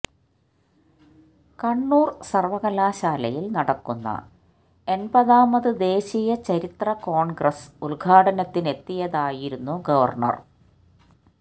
കണ്ണൂര് സര്വകലാശാലയില് നടക്കുന്ന എണ്പതാമത് ദേശീയ ചരിത്ര കോണ്ഗ്രസ് ഉദ്ഘാടനത്തിനെത്തിയതായിരുന്നു ഗവര്ണര്